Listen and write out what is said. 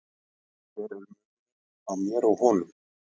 Hver er munurinn á mér og honum?